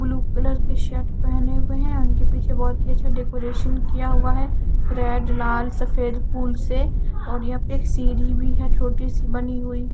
Blue colour के shirt पहने हुए है उनके पीछे बहुत ही अच्छा डेकोरेशन किया हुआ है रेड लाल सफेद फूल से और यहां पे एक सीढ़ी भी है छोटी सी बनी हुई।